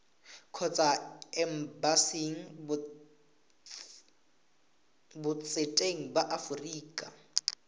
kgotsa embasing botseteng ba aforika